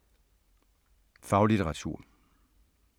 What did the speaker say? Faglitteratur